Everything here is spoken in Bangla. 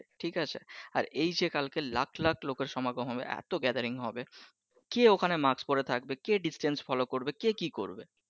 ঠিক আছে আর এইযে কালকে লাখ লাখ লোকের সমাগম হবে এতো গেদারিং হবে কে ঐখানে মাস্ক পরে থাকবে কে distance follow করবে কে কি করবে?